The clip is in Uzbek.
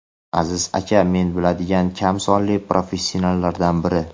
Aziz aka men biladigan kam sonli professionallardan biri.